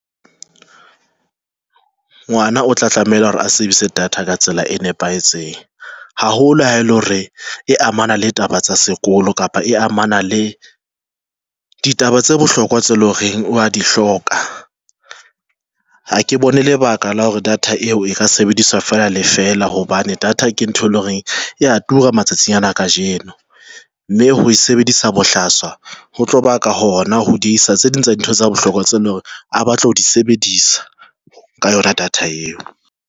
Ngwana o tla tlameha hore a sebedise data ka tsela e nepahetseng haholo ha ele hore e amana le taba tsa sekolo kapa e amana le ditaba tse bohlokwa tse loreng wa di hloka. Ha ke bone lebaka la hore data eo e ka sebediswa fela le fela hobane data ke ntho e leng hore ya tura matsatsing ana kajeno, mme ho e sebedisa bohlaswa ho tloba ka hona ho diehisa tse ding tsa dintho tsa bohlokwa tse leng hore a batla ho di sebedisa ka yona data eo.